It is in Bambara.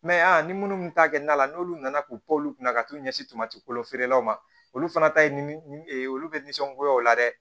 ni minnu ta kɛ na la n'olu nana k'u pan olu kunna ka t'u ɲɛsin tomati kolofeerelaw ma olu fana ta ye ni olu bɛ nisɔngoya o la dɛ